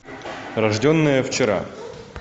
рожденная вчера